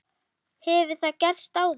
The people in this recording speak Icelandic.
Hefur það gerst áður?